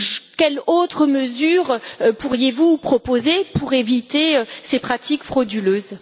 Quelle autre mesure pourriez vous proposer pour éviter ces pratiques frauduleuses?